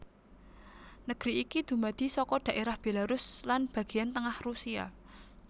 Negeri iki dumadi saka dhaerah Belarus lan bagéyan tengah Rusia